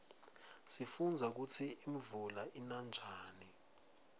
sifundza kutsi imvula ina njani